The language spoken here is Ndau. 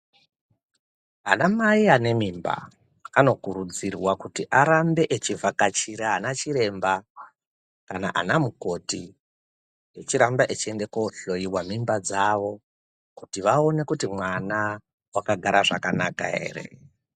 Anamai anemimba anokurudzirwa kuti arambe achivhakachire anachiremba kana anamukoti echiramba echeinda kohloyiwe mimba dzawo kuti vaone kuti mwana wakagara zvakanaka ere.